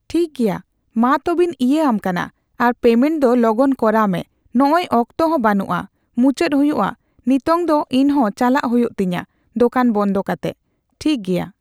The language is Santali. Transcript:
ᱴᱷᱤᱠᱜᱮᱭᱟ ᱢᱟᱛᱚᱵᱮᱧ ᱤᱭᱟᱹ ᱟᱢ ᱠᱟᱱᱟ ᱟᱨ ᱯᱮᱢᱮᱴ ᱫᱚ ᱞᱚᱜᱚᱱ ᱠᱚᱨᱟᱣ ᱢᱮ ᱱᱚᱜᱚᱭ ᱚᱠᱛᱚᱦᱚᱸ ᱵᱟᱹᱱᱩᱜ ᱟ ᱢᱩᱪᱟᱹᱫ ᱦᱩᱭᱩᱜ ᱟ ᱱᱤᱛᱚᱝ ᱫᱚ ᱤᱧᱦᱚᱸ ᱪᱟᱞᱟᱜ ᱦᱩᱭᱩᱜ ᱛᱤᱧᱟᱹ ᱫᱚᱠᱟᱱ ᱵᱚᱱᱫᱚ ᱠᱟᱛᱮᱜ ᱴᱷᱤᱠᱜᱮᱭᱟ ᱾